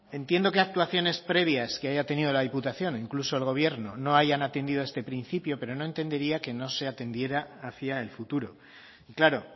entiendo que actuaciones previas que haya tenido la diputación o incluso el gobierno no hayan atendido a este principio pero no entendería que no se atendiera hacia el futuro claro